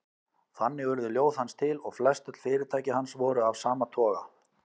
Þannig urðu ljóð hans til og flestöll fyrirtæki hans voru af sama toga.